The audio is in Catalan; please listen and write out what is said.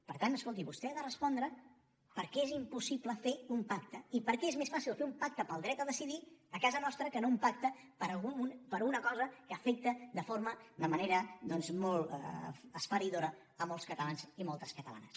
per tant escolti vostè ha de respondre per què és impossible fer un pacte i per què és més fàcil fer un pacte pel dret a decidir a casa nostra que no un pacte per una cosa que afecta de forma de manera doncs molt esfereïdora molts catalans i moltes catalanes